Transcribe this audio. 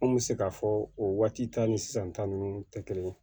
An kun bɛ se k'a fɔ o waati ta ni sisan ta ninnu tɛ kelen ye